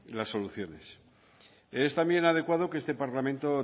las soluciones es también adecuado que este parlamento